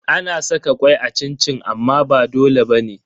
Ana saka kwai a cin-cin amma ba dole bane.